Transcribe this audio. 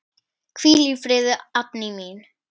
Hvíl í friði, Addý mín.